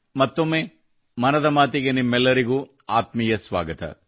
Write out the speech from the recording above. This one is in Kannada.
ಮತ್ತೊಮ್ಮೆ ಮನದ ಮಾತಿಗೆ ನಿಮ್ಮೆಲ್ಲರಿಗೂ ಆತ್ಮೀಯ ಸ್ವಾಗತ